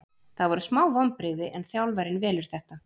Það voru smá vonbrigði en þjálfarinn velur þetta.